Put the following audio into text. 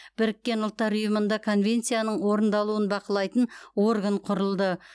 біріккен ұлттар ұйымында конвенцияның орындалуын бақылайтын орган құрылды